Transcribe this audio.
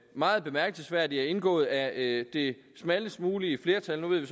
meget bemærkelsesværdigt er indgået af det smallest mulige flertal nu ved